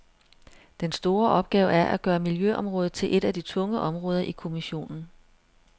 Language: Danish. Den store opgave er at gøre miljøområdet til et af de tunge områder i kommissionen.